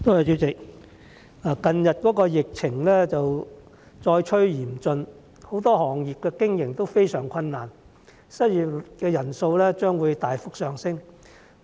主席，近日疫情再趨嚴峻，很多行業的經營都非常困難，失業人數將會大幅上升。